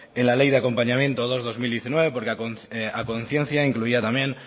en la ley de acompañamiento dos barra dos mil diecinueve porque a conciencia incluía también